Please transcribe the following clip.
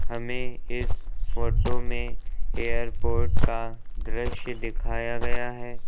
हमें इस फोटो में एयरपोर्ट का दृश्य दिखाया गया है।